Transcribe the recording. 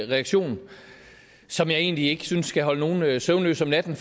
reaktion som jeg egentlig ikke synes skal holde nogen søvnløs om natten